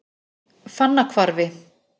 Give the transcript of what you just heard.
Fannahvarfi